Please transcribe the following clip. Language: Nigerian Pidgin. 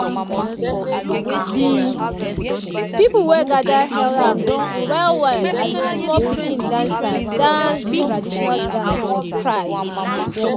de pipu wey gather hail ahm well well as d small pikin dancer dance de traditional dance with pride.